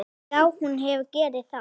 Já, hún hefur gert það.